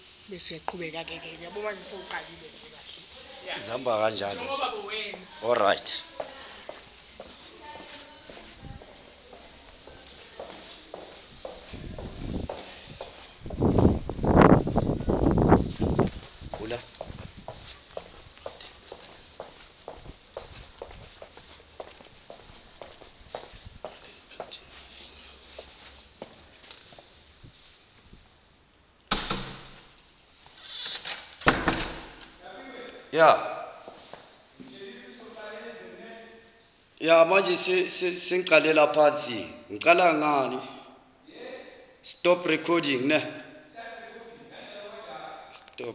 alan paton avenue